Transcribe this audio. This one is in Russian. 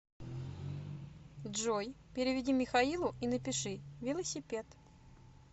джой переведи михаилу и напиши велосипед